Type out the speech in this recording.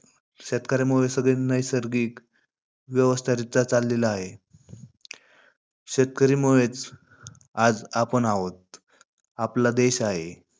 शेतकऱ्यांमुळे सगळं नैसर्गिक व्यवस्थारीत्या चाललेलं आहे. शेतकरीमुळेचं आज आपण आहोत, आपला देश आहे.